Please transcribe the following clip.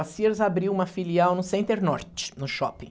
A Sears abriu uma filial no Center Norte, no shopping.